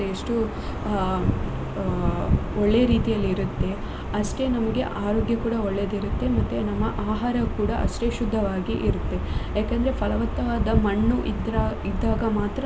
ಎಷ್ಟು ಅ ಅ ಒಳ್ಳೆ ರೀತಿಯಲ್ಲಿ ಇರುತ್ತೆ ಅಷ್ಟೆ ನಮ್ಗೆ ಆರೋಗ್ಯ ಕೂಡ ಒಳ್ಳೆದಿರುತ್ತೆ ಮತ್ತೆ ನಮ್ಮ ಆಹಾರ ಕೂಡ ಅಷ್ಟೆ ಶುದ್ಧವಾಗಿ ಇರುತ್ತೆ ಯಾಕಂದ್ರೆ ಫಲವತ್ತಾದ ಮಣ್ಣು ಇದ್ರ~ ಇದ್ದಾಗ ಮಾತ್ರ.